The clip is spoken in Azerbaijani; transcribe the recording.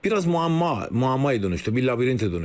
Biraz müəmma, müəmmaya dönüşdü, bir labirintə dönüşdü o.